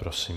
Prosím.